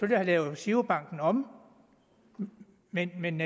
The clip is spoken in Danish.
have lavet girobank om men men